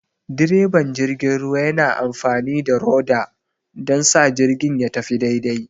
direban jirgin ruwa yana amfani da rudder don sa jirgin ya tafi daidai.